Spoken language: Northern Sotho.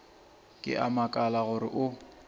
ke a makala gore o